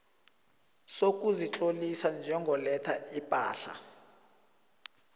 sokuzitlolisa njengoletha ipahla